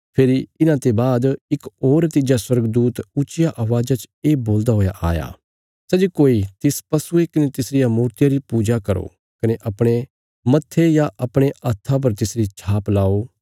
फेरी इन्हांते बाद इक होर तिज्जा स्वर्गदूत ऊच्चिया अवाज़ च ये बोलदा हुआ आया सै जे कोई तिस पशुये कने तिसरिया मूर्तिया री पूजा करो कने अपणे मत्थे या अपणे हत्था पर तिसरी छाप लाओ